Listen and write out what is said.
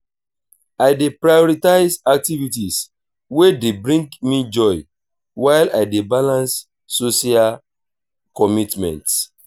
i dey prioritize activities wey dey bring me joy while i dey balance social commitments.